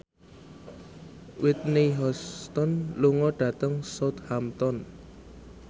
Whitney Houston lunga dhateng Southampton